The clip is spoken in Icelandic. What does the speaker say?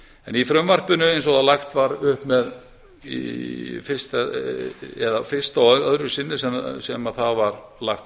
en í frumvarpinu eins og lagt var upp með í fyrsta og öðru sinni sem það var lagt